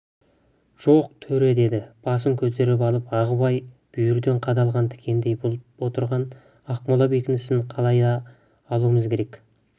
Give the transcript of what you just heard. жоқ төре деді басын көтеріп алып ағыбай бүйірден қадалған тікендей болып отырған ақмола бекінісін қалай да алуымыз керек